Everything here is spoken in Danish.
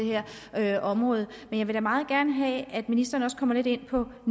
her område men jeg vil da meget gerne have at ministeren kommer lidt ind på at